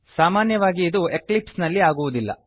ಸಾಮಾನ್ಯವಾಗಿ ಇದು ಎಕ್ಲಿಪ್ಸ್ ನಲ್ಲಿ ಆಗುವುದಿಲ್ಲ